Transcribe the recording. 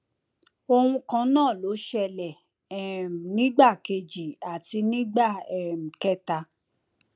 ohun kan náà ló ṣẹlẹ um nígbà kejì àti nígbà um kẹta